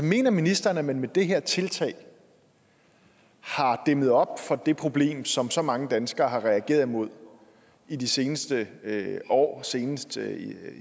mener ministeren at man med det her tiltag har dæmmet op for det problem som så mange danskere har reageret imod i de seneste år senest